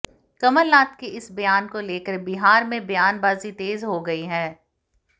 कमलनाथ के इस बयान को लेकर बिहार में बयानबाजी तेज हो गई है